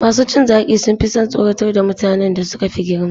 Masu cin zaki sun fi son tsoratar da mutanen da suka fi girma.